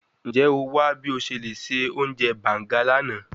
Njẹ o wa bi o ṣe le ṣe ounjẹ banga lana?